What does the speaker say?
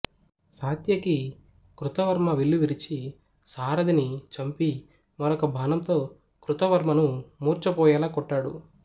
సాత్యకి కృతవర్మ విల్లు విరిచి సారథిని చంపి మరొక బాణంతో కృతవర్మను మూర్చపోయేలా కొట్టాడు